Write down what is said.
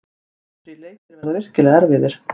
Næstu þrír leikir verða virkilega erfiðir.